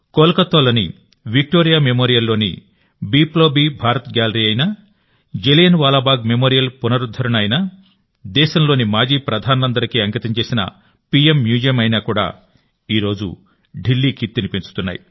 కోల్కతాలోని Victoria memorial లోని Biplobi Bharat gallery అయినా జలియన్వాలాబాగ్ మెమోరియల్ పునరుద్ధరణ అయినాదేశంలోని మాజీ ప్రధానులందరికీ అంకితం చేసిన పీఏం మ్యూజియం కూడా ఈ రోజు ఢిల్లీ కీర్తిని పెంచుతున్నాయి